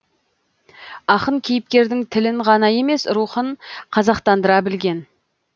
ақын кейіпкердің тілін ғана емес рухын қазақтандыра білген